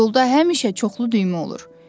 Yolda həmişə çoxlu düymə olur.